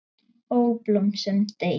Ó, blóm sem deyið!